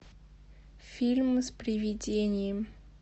фильм с привидением